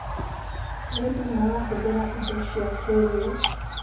Arĩmĩ marahũthĩra ĩndo cĩa kĩĩrĩũ